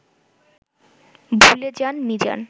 ভুলে যান মিজান